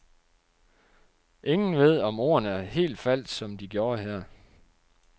Ingen ved, om ordene helt faldt, som de gjorde her.